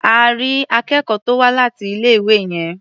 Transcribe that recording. À rí akẹ́kọ̀ọ́ tó wá láti ilé-ìwé yẹn.